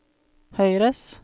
høyres